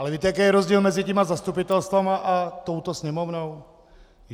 Ale víte, jaký je rozdíl mezi těmi zastupitelstvy a touto Sněmovnou?